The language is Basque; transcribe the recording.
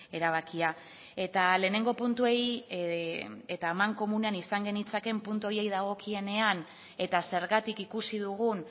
erabakia eta lehenengo puntuei eta amankomunean izan genitzakeen puntu horiei dagokienean eta zergatik ikusi dugun